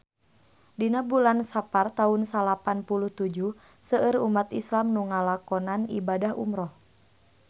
Dina bulan Sapar taun salapan puluh tujuh seueur umat islam nu ngalakonan ibadah umrah